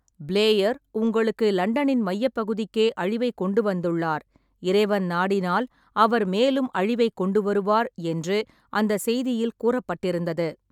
"Player உங்களுக்கு லண்டனின் மையப் பகுதிக்கே அழிவைக் கொண்டுவந்துள்ளார், இறைவன் நாடினால் அவர் மேலும் அழிவைக் கொண்டுவருவார்" என்று அந்தச் செய்தியில் கூறப்பட்டிருந்தது.